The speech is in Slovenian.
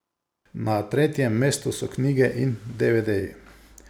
Na tretjem mestu so knjige in devedeji.